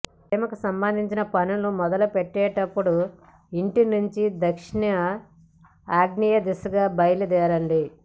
ప్రేమకు సంబంధించిన పనులు మొదలుపెట్టేటప్పుడు ఇంటినుంచి దక్షిణ ఆగ్నేయదిశగా బయలుదేరండి